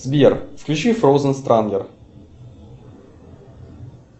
сбер включи фроузен странгер